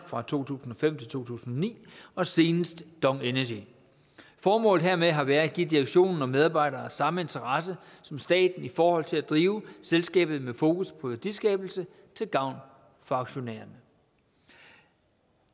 fra to tusind og fem til to tusind og ni og senest dong energy formålet hermed har været at give direktionen og medarbejdere samme interesse som staten i forhold til at drive selskabet med fokus på værdiskabelse til gavn for aktionærerne